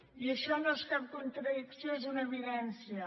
i això no és cap contradicció és una evidència